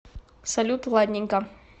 салют ладненько